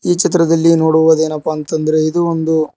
ಈ ಚಿತ್ರದಲ್ಲಿ ನೋಡುವದೇನಪ್ಪಾ ಅಂತ ಅಂದ್ರೆ ಇದು ಒಂದು--